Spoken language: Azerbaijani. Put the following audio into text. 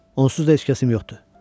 Onsuz da heç kəsim yoxdur.